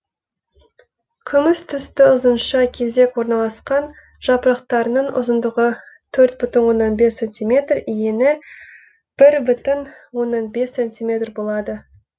күміс түсті ұзынша кезек орналасқан жапырақтарының ұзындығы төрт бүтін оннан бес сантиметр ені бір бүтін оннан бес сантиметр болады